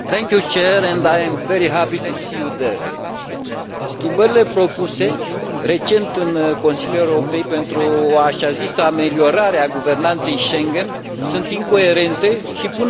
Schimbările propuse recent în Consiliul european pentru o așa zisă ameliorare a guvernanței Schengen sunt incoerente și pun în pericol libera circulație a cetățenilor europeni.